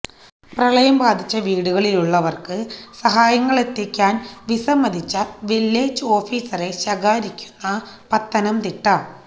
പ്രളയം ബാധിച്ച വീടുകളിലുള്ളവര്ക്ക് സഹായങ്ങളെത്തിക്കാന് വിസമ്മതിച്ച വില്ലേജ് ഓഫീസറെ ശകാരിക്കുന്ന പത്തനം തിട്ട